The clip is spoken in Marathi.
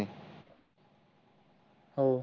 हो